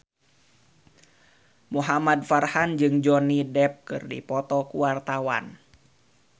Muhamad Farhan jeung Johnny Depp keur dipoto ku wartawan